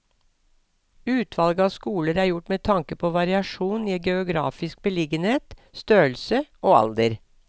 Utvalget av skoler er gjort med tanke på variasjon i geografisk beliggenhet, størrelse og alder.